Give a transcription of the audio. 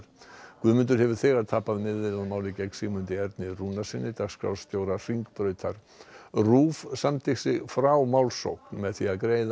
Guðmundur hefur þegar tapað meiðyrðamáli gegn Sigmundi Erni Rúnarssyni dagskrárstjóra Hringbrautar RÚV samdi sig frá málsókn með því að greiða